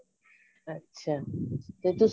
ਅੱਛਾ ਤੇ ਤੁਸੀਂ